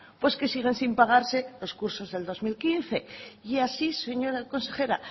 pues que siguen sin pagarse los cursos del dos mil quince y así señora consejera